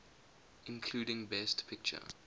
including best picture